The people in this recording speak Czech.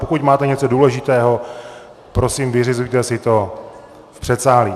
Pokud máte něco důležitého, prosím, vyřizujte si to v předsálí.